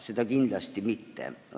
Seda kindlasti mitte.